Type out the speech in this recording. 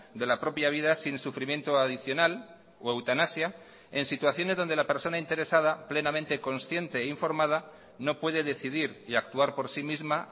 de la propia vida sin sufrimiento adicional o eutanasia en situaciones donde la persona interesada plenamente consciente e informada no puede decidir y actuar por sí misma